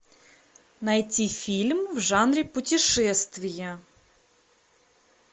найти фильм в жанре путешествие